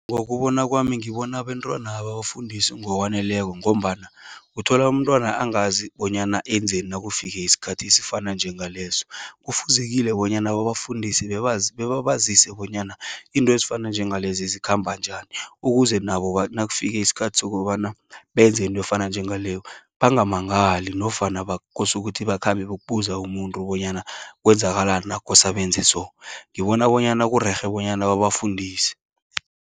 Ngokubona kwami, ngibona abentwana ababafundisi ngokwaneleko, ngombana uthola umntwana angazi, bonyana enzeni nakufike iskhathi esifana nje ngaleso. Kufuzekile bonyana babafundise, bebabazise bonyana into ezifana nalezi zikhamba njani, ukuze nabo nakufike iskhathi sokobana benze into efana njengaloyo bangamangali, nofana bakosukuthi bakhambe, bokubuza umuntu, bonyana kwenzakalani nakukosa benze so. Ngibona bonyana kurerhe bonyana babafundise.